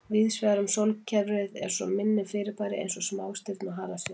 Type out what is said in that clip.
Víðsvegar um sólkerfið eru svo minni fyrirbæri eins og smástirni og halastjörnur.